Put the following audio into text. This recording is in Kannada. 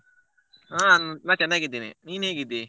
ಹ ನಾನ್ ಚೆನ್ನಾಗಿದ್ದೇನೆ ನೀನ್ ಹೇಗಿದ್ದಿ?